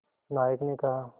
नायक ने कहा